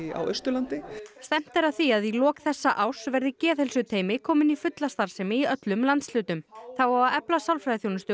á Austurlandi stefnt er að því að í lok þessa árs verði geðheilsuteymi komin í fulla starfsemi í öllum landshlutum þá á að efla sálfræðiþjónustu